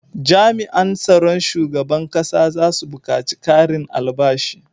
Jami an tsaron shugaban ƙasa zasu bukaci karin albashi